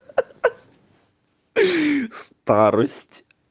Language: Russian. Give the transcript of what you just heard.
хи хи старость